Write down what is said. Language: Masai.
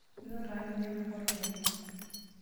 Inyorr taa ninye mbuka orgali.